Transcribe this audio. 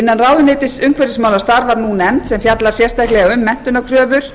innan ráðuneytis umhverfismála starfar nefnd sem fjallar sérstaklega um menntunarkröfur